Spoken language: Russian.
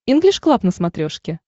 инглиш клаб на смотрешке